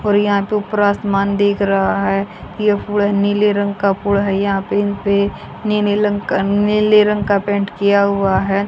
और यहां पे ऊपर आसमान दिख रहा है ये फूड़ है नीले रंग का फुड़ है यहां पे इनपे नीले लंग का नीले रंग का पेंट किया हुआ है।